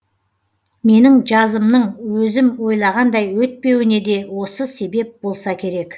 менің жазымның өзім ойлағандай өтпеуіне де осы себеп болса керек